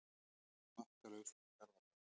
Markalaust í Garðabænum